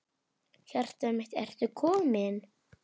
Hjartað mitt, ertu kominn?